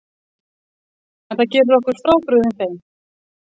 En það gerir okkur frábrugðin þeim